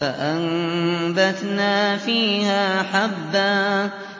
فَأَنبَتْنَا فِيهَا حَبًّا